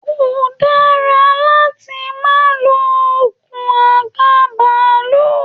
Ko dara láti ma lo okùn àga bàálù!